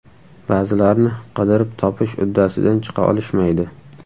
Ba’zilarni qidirib topish uddasidan chiqa olishmaydi.